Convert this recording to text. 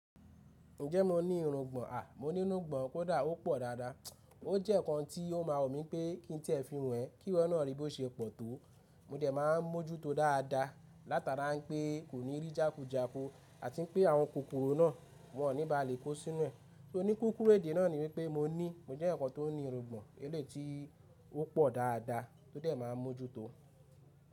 Ǹjẹ́ mo ní irungbọ̀n? À! Mo ní irungbọ̀n kódà ó pọ̀ dáadáa. O jẹ́ ǹkan tí ó máa wù mí pé kí n ti ẹ fi wọ́n ẹ́, kí wọ́ náà rí bó ṣe pọ̀ tó. Mo dẹ̀ máa ń mójú tó dáadá, látara n pé kò ní rí jàkùjàkù àti n pé àwọn kòkòrò náà wọn ní bàá lè kó sí nú ẹ̀. Ní kúkúrú èdè náà ni wípé mo ní, mo jẹ eeyan kan tó ní irungbọ̀n eléyìí tí ó pọ̀ dáadáa, tó dẹ̀ máa ń mó jú tó.